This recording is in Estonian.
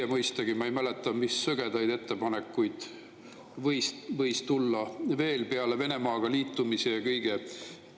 Ma mõistagi ei mäleta, mis sõgedaid ettepanekuid võis olla veel peale Venemaaga liitumise ja kõige sellise.